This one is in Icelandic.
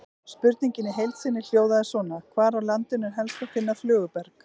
Spurningin í heild sinni hljóðaði svona: Hvar á landinu er helst að finna flöguberg?